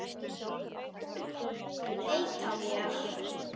Þú vilt ekki neita mér.